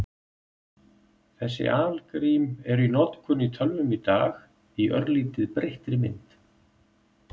Þessi algrím eru í notkun í tölvum í dag í örlítið breyttri mynd.